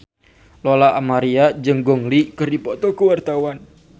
Lola Amaria jeung Gong Li keur dipoto ku wartawan